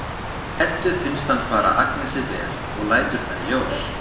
Eddu finnst hann fara Agnesi vel og lætur það í ljós.